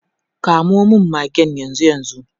Kamo magen yanzu yanzu.